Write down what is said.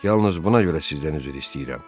Yalnız buna görə sizdən üzr istəyirəm.